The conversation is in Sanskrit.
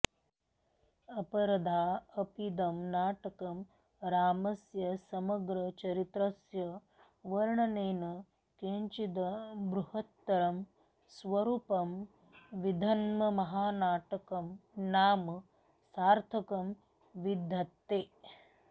अपरथा अपीदं नाटकं रामस्य समग्रचरित्रस्य वर्णनेन किञ्चिद् बृहत्तरं स्वरूपं विदधन्महानाटकं नाम सार्थकं विधत्ते